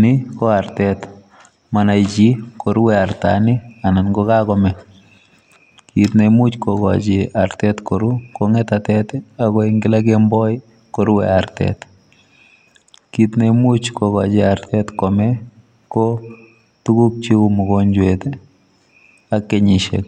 Ni ko artet, monoe chi ngorue artani anan kokakomee. Kiit neimuch kokochi artet koru ko ng'etatet ako en kila kemboi korue artet. Kiit neimuch kokochi artet komee ko tuguk cheu mogonjwet ak kenyisiek,